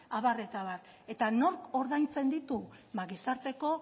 abar eta abar eta nork ordaintzen ditu ba gizarteko